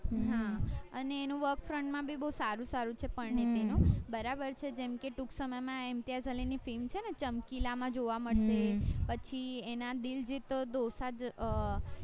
હા અને એનું માં ભી બૌ સારું સારું છે પરીનીતી નું બરાબર છે જેમ કે ટુક સમય માં ઈમ્તિયાઝ અલી ની film છે ને ચમકીલા માં જોવા મળશે પછી એના દિલ જીતો દોસંજ